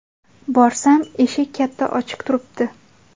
Borsam, eshik katta ochiq turibdi.